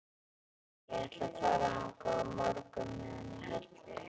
Ég ætla að fara þangað á morgun með henni Höllu.